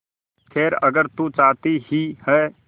खैर अगर तू चाहती ही है